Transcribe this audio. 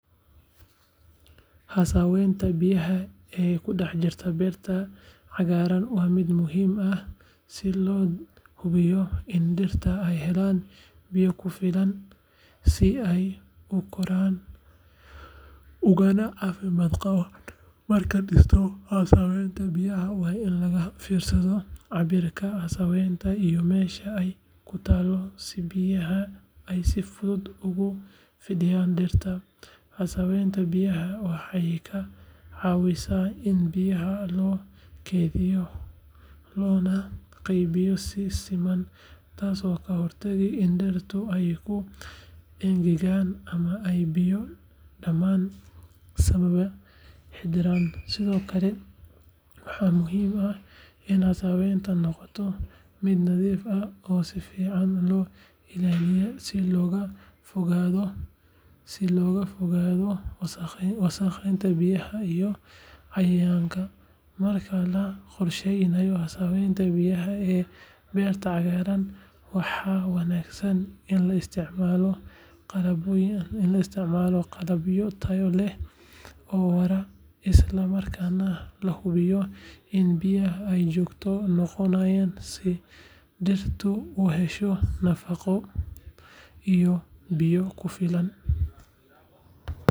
Haasaweynta biyaha ee ku dhex jirta beerta cagaaran waa mid muhiim ah si loo hubiyo in dhirta ay helaan biyo ku filan si ay u koraan ugana caafimaad qabaan. Markaad dhisto haasaweenta biyaha, waa in laga fiirsadaa cabirka haasaweenta iyo meesha ay ku taallo si biyaha ay si fudud ugu fidiyaan dhirta. Haasaweenta biyaha waxay ka caawisaa in biyaha la keydiyo loona qaybiyo si siman, taasoo ka hortagta in dhirtu ay ku engegaan ama ay biyo badani saameeyaan xididdada. Sidoo kale, waxaa muhiim ah in haasaweentu noqoto mid nadiif ah oo si fiican loo ilaaliyo si looga fogaado wasakhowga biyaha iyo cayayaanka. Marka la qorsheynayo haasaweenta biyaha ee beerta cagaaran, waxaa wanaagsan in la isticmaalo qalabyo tayo leh oo waara, isla markaana la hubiyo in biyaha ay joogto noqdaan si dhirta u hesho nafaqo iyo biyo ku filan.